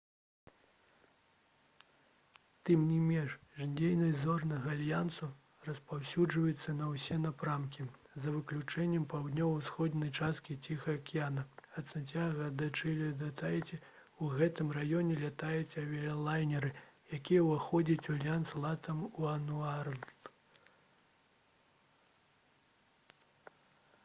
тым не менш дзейнасць «зорнага альянсу» распаўсюджваецца на ўсе напрамкі за выключэннем паўднёва-ўсходняй часткі ціхага акіяна — ад сант'яга-дэ-чылі да таіці. у гэтым раёне лятаюць авіялайнеры якія ўваходзяць у альянс «латам уануорлд»